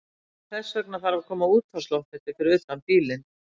Þess vegna þarf að koma útvarpsloftneti fyrir utan bílinn.